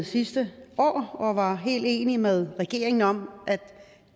sidste år og var helt enige med regeringen om at